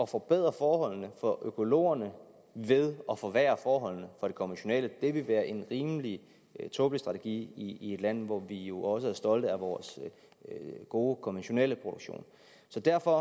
forbedre forholdene for økologerne ved at forværre forholdene for det konventionelle det ville være en rimelig tåbelig strategi i et land hvor vi jo også er stolte af vores gode konventionelle produktion så derfor